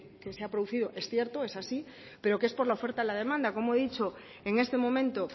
que se ha producido es cierto es así pero que es por la oferta y la demanda como he dicho en este momento